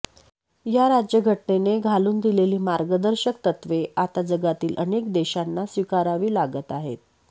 या राज्य घटनेने घालून दिलेली मार्गदर्शक तत्त्वे आता जगातील अनेक देशांना स्वीकारावी लागत आहेत